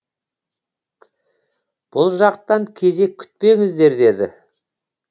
бұл жақтан кезек күтпеңіздер деді